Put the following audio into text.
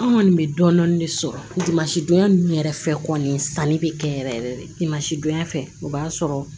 An kɔni bɛ dɔɔnin dɔɔnin de sɔrɔmasidonya ninnu yɛrɛ fɛ kɔni sanni bɛ kɛ yɛrɛ yɛrɛ de maasidonya fɛ o b'a sɔrɔ